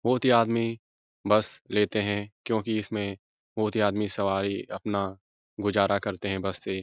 बोहोत ही आदमी बस लेते हैं क्योंकि इसमें बोहोत ही आदमी सवारी अपना गुजारा करते हैं बस से।